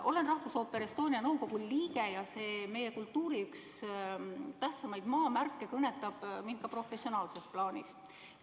Olen Rahvusooperi Estonia nõukogu liige ja see meie kultuuri tähtsaimaid maamärke kõnetab mind ka professionaalses plaanis.